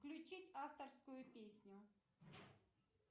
включить авторскую песню